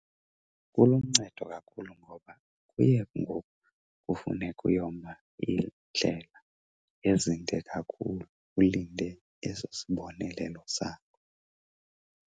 Kuluncedo kakhulu ngoba kuye ngoku kufuneke uyoma iindlela ezinde kakhulu ulinde eso sibonelelo sakho.